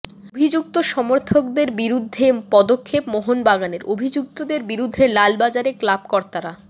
অভিযুক্ত সমর্থকদের বিরুদ্ধে পদক্ষেপ মোহনবাগানের অভিযুক্তদের বিরুদ্ধে লালবাজারে ক্লাবকর্তারা